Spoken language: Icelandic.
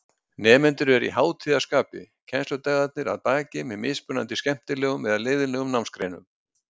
Nemendur eru í hátíðarskapi, kennsludagarnir að baki með mismunandi skemmtilegum eða leiðinlegum námsgreinum.